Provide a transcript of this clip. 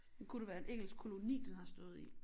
Kunne det være en engelsk koloni den har stået i